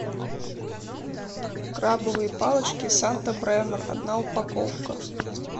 крабовые палочки санта бремор одна упаковка